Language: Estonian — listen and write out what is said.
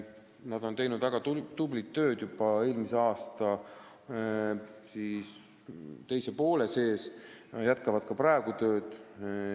Nad tegid väga tublit tööd juba eelmise aasta teisel poolel ja jätkavad tööd ka praegu.